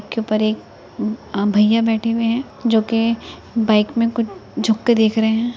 के ऊपर एक भईया बैठे हुए हैं जो के बाइक में कुछ झुक के देख रहे हैं।